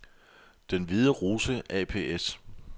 Den Hvide Rose ApS